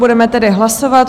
Budeme tedy hlasovat.